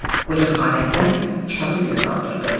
Qoca xanəndə kitabı göyə qaldırdı.